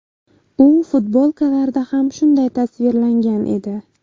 U futbolkalarda ham shunday tasvirlangan edi .